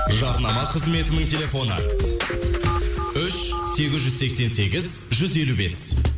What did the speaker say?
жарнама қызметінің телефоны үш сегіз жүз сексен сегіз жүз елу бес